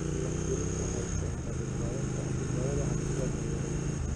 Diiwaangelintu waxay keentaa badbaadada hantida beeralayda.